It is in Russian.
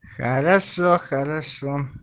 хорошо хорошо